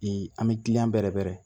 an bɛ gili bɛrɛ bɛrɛ